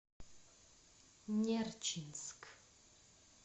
нерчинск